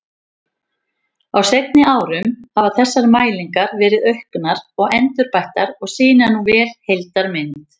Á seinni árum hafa þessar mælingar verið auknar og endurbættar og sýna nú vel heildarmynd.